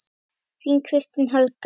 Þín, Kristín Helga.